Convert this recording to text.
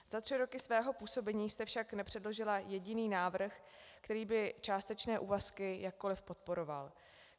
Za tři roky svého působení jste však nepředložila jediný návrh, který by částečné úvazky jakkoli podporoval.